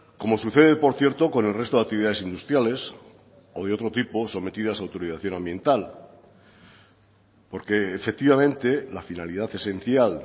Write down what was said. como sucede por cierto con el resto de actividades industriales o de otro tipo sometidas a autorización ambiental porque efectivamente la finalidad esencial